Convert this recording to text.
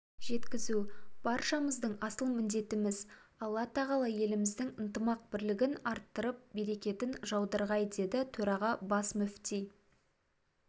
жеткізу баршамыздың асыл міндетіміз алла тағала еліміздің ынтымақ-бірлігін арттырып берекетін жаудырғай деді төрағасы бас мүфти